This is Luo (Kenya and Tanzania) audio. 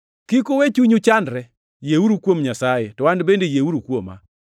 “Kik uwe chunyu chandre. Yieuru kuom Nyasaye, to An bende yieuru kuoma.